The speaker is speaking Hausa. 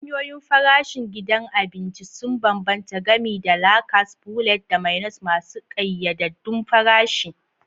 Hanyoyin farashin gidan abinci sun bambanta, gami da la carte, buffet, da menus masu ƙayyadaddun farashi.